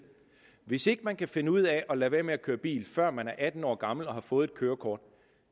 hvis ikke man kan finde ud af at lade være med at køre bil før man er atten år gammel og har fået et kørekort